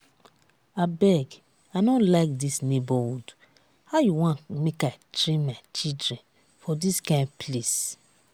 abeg i no like dis neigbourhood how you wan make i train my children for dis kyn place?